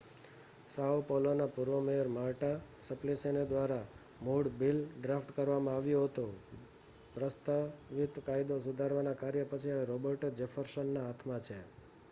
સાઓ પૌલોના પૂર્વ mayor Marta Suplicy દ્વારા મૂળ બિલ ડ્રાફ્ટ કરવામાં આવ્યું હતું પ્રસ્તાવિત કાયદો સુધારના કર્યા પછી હવે રૉબર્ટો જેફર્સનના હાથમાં છે